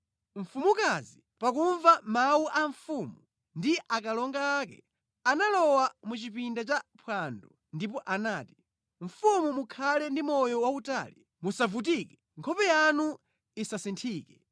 Mfumukazi, pakumva mawu a mfumu ndi akalonga ake, analowa mʼchipinda cha phwando ndipo anati, “Mfumu mukhale ndi moyo wautali! Musavutike! Nkhope yanu isasinthike!